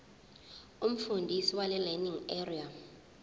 umfundisi welearning area